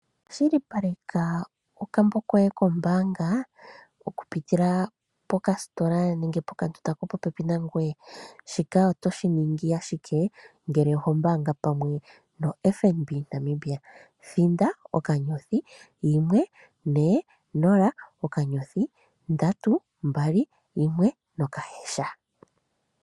Kwashilipaleka okmbo koye kombaanga okupitila pokasitola nemge pokandunda kopopepi nangoye. Shilaptp shi ningi ashike ngele oho mbaanga pamwe noFNB Namibia, thinda *140*321#.